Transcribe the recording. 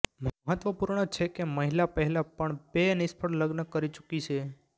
મહત્વપૂર્ણ છે કે મહિલા પહેલા પણ બે નિષ્ફળ લગ્ન કરી ચુકી છે